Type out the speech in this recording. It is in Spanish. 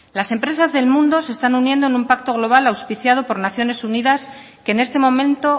las empresas del mundo se están uniendo en un pacto global auspiciado por naciones unidas que en este momento